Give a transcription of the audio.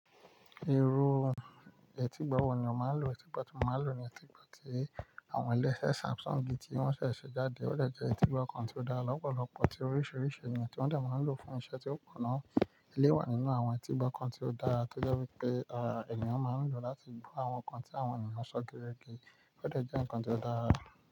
Ero etígbo wọ̀ ni ó máa ń lò etígbo tí mo máa ń lò ní etígbo tí àwọn ilé-iṣẹ́ Samsung ti wọ́n ṣẹ̀ ṣe jáde. Ó jẹ́ ẹtígbo kan tí ó dá lọ́pọ̀lọpọ̀ tí oríṣìíríṣìí ènìyàn tí wọ́n de ma nlo láti lò fún iṣẹ́ tí ó pọ̀ na. Eléwà nínú àwọn ẹtígbo kan tí ó dáa tó jẹ́ wípé ara ènìyàn máa ń lò láti gbó àwọn ǹkan tí àwọn ènìyàn sọ gerége. Ó jẹ́ ǹkan tí ó dára.